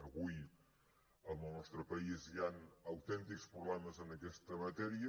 avui en el nostre país hi han autèntics problemes en aquesta matèria